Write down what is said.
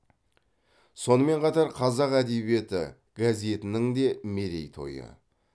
сонымен қатар қазақ әдебиеті газетінің де мерейтойы